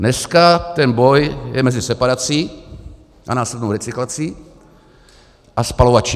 Dneska ten boj je mezi separací a následnou recyklací a spalovači.